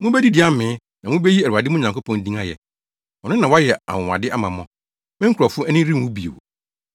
Mubedidi amee, na mubeyi Awurade mo Nyankopɔn din ayɛ. Ɔno na wayɛ anwonwade ama mo; me nkurɔfo ani renwu bio.